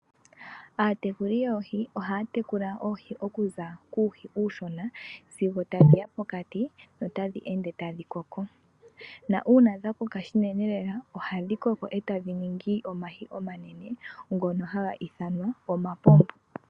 Aatekuli yoohi ohaya tekula oohi okuza kuuhi uushona sigo tadhiya pokati notadhi ende tadhi koko. Uuna dhakoka shinene lela, ohadhi koko tadhi ningi omahi omanene ngono haga ithanwa omapombo.